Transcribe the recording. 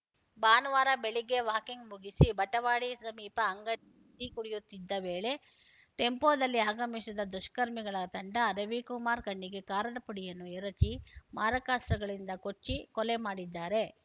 ಭಾನುವಾರ ಬೆಳಿಗ್ಗೆ ವಾಕಿಂಗ್‌ ಮುಗಿಸಿ ಬಟವಾಡಿ ಸಮೀಪ ಅಂಗಡಿ ಟೀ ಕುಡಿಯುತ್ತಿದ್ದ ವೇಳೆ ಟೆಂಪೋದಲ್ಲಿ ಆಗಮಿಸಿದ ದುಷ್ಕರ್ಮಿಗಳ ತಂಡ ರವಿಕುಮಾರ್‌ ಕಣ್ಣಿಗೆ ಕಾರದ ಪುಡಿಯನ್ನು ಎರಚಿ ಮಾರಕಾಸ್ತ್ರಗಳಿಂದ ಕೊಚ್ಚಿ ಕೊಲೆ ಮಾಡಿದ್ದಾರೆ